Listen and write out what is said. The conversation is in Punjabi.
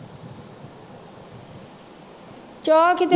ਚਾਹ ਕਿਤੇ